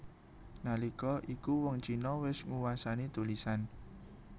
Nalika iku wong Cina wis nguwasani tulisan